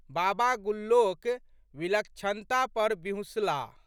बाबा गुल्लोक विलक्षणता पर बिहुँसलाह।